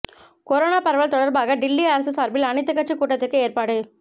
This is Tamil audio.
கொரோனா பரவல் தொடர்பாக டில்லி அரசு சார்பில் அனைத்து கட்சி கூட்டத்திற்கு ஏற்பாடு